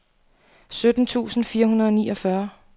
sytten tusind fire hundrede og niogfyrre